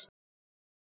Kona eða karl?